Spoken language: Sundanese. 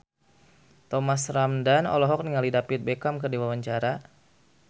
Thomas Ramdhan olohok ningali David Beckham keur diwawancara